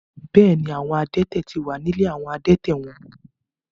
Bẹ́ẹ̀ ni, àwọn adẹ́tẹ̀ ti wà ní ilé àwọn adẹ́tẹ̀ wọn.